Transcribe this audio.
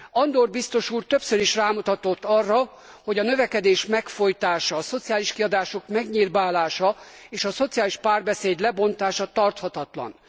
Andor biztos úr többször is rámutatott arra, hogy a növekedés megfojtása, a szociális kiadások megnyirbálása és a szociális párbeszéd lebontása tarthatatlan.